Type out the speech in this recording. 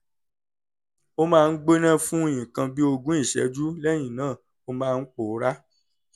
ó máa ń gbóná fún nǹkan bí ogún ìṣẹ́jú lẹ́yìn náà ó máa ń pòórá